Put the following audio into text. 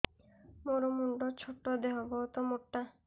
ମୋର ମୁଣ୍ଡ ଛୋଟ ଦେହ ବହୁତ ମୋଟା